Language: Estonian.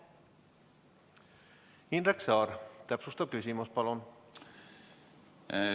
Indrek Saar, täpsustav küsimus, palun!